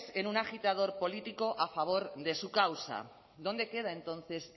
en una agitador político a favor de su causa dónde queda entonces